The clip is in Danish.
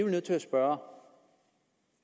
nødt til at spørge